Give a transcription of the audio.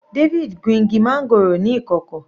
David gun igi máńgòrò ní ìkọ̀kọ̀.